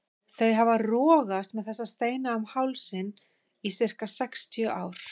Þau hafa rogast með þessa steina um hálsinn í sirka sextíu ár.